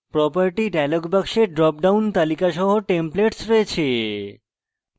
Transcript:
property dialog box drop down তালিকা সহ templates রয়েছে